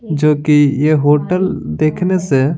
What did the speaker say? जो कि यह होटल देखने से।